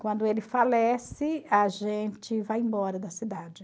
Quando ele falece, a gente vai embora da cidade.